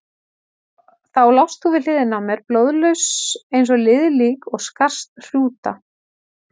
Þá lást þú við hliðina á mér, blóðlaus eins og liðið lík og skarst hrúta.